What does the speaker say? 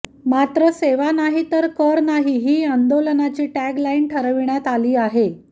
मात्र सेवा नाही तर कर नाही ही आंदोलनाची टॅग लाईन ठरविण्यात आली आहे